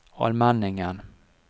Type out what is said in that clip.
Almenningen